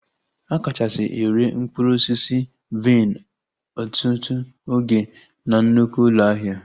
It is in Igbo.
A kachasị ere mkpụrụ osisi vaịn ọtụtụ oge na nnukwu ụlọ ahịa